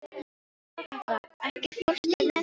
Þorkatla, ekki fórstu með þeim?